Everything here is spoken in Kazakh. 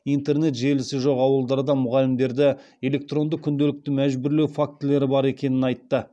интернет желісі жоқ ауылдарда мұғалімдерді электронды күнделікті мәжбүрлеу фактілері бар екенін айтты